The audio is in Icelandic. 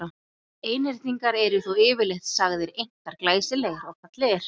Einhyrningar eru þó yfirleitt sagðir einkar glæsilegir og fallegir.